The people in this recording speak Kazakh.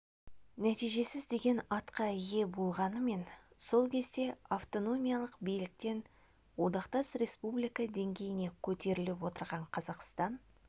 нәтижесіз деген атқа ие болғанымен сол кезде автономиялық биліктен одақтас республика деңгейіне көтеріліп отырған қазақстан